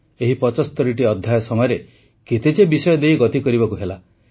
ଏହି ୭୫ଟି ଅଧ୍ୟାୟ ସମୟରେ କେତେ ଯେ ବିଷୟ ଦେଇ ଗତି କରିବାକୁ ହେଲା